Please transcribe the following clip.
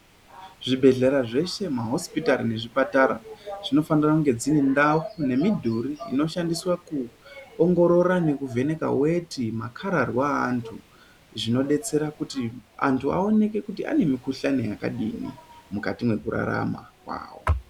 Zvibhedhlera zveshe mahisipitari nezvipatara zvinofanira kunge dziri ndau nemidhuri inoshandiswa kuongorora nekuvheneka veti makararwa avantu. Zvinobetsera kuti antu aoneke kuti ane mikuhlani yakadini mukati mekurarama kwavo.